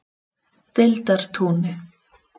Deildartúni